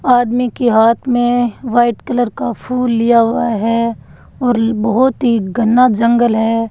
आदमी के हाथ मे व्हाइट कलर का फूल लिया हुआ है और बहोत ही घना जंगल है।